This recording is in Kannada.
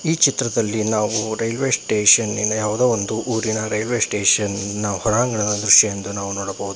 ಈ ಚಿತ್ರದಲ್ಲಿ ನಾವು ರೈಲ್ವೆ ಸ್ಟೇಷನಿನ ಯಾವುದೋ ಒಂದು ಊರಿನ ರೈಲ್ವೆ ಸ್ಟೇಷನ್ ನ ಹೊರಾಂಗಣ ದೃಶ್ಯವೆಂದು ನಾವು ನೋಡಬಹುದು.